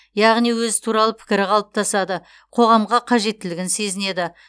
яғни өзі туралы пікірі қалыптасады қоғамға қажеттілігін сезінеді